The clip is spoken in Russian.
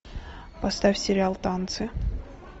поставь сериал танцы